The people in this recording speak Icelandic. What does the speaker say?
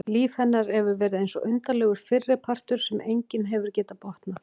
Líf hennar hefur verið eins og undarlegur fyrripartur sem enginn hefur getað botnað.